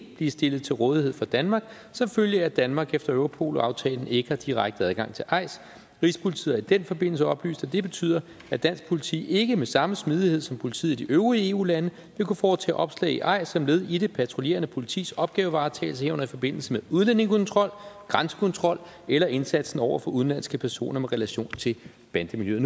blive stillet til rådighed for danmark som følge af at danmark efter europol aftalen ikke har direkte adgang til eis rigspolitiet har i den forbindelse oplyst at det betyder at dansk politi ikke med samme smidighed som politiet i de øvrige eu lande vil kunne foretage opslag i eis som led i det patruljerende politis opgavevaretagelse herunder i forbindelse med udlændingekontrol grænsekontrol eller indsatsen over for udenlandske personer med relation til bandemiljøet